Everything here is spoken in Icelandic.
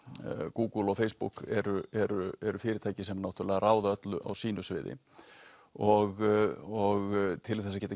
Google og Facebook eru eru eru fyrirtæki sem náttúrulega ráða öllu á sínu sviði og til þess að geta